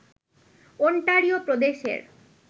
Ontario প্রদেশের